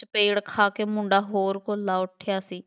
ਚਪੇੜ ਖਾ ਕੇ ਮੁੰਡਾ ਹੋਰ ਖੁਰਲਾ ਉੱਠਿਆ ਸੀ,